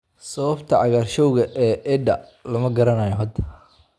Sababta cagaarshowga A E-da lama garanayo hadda.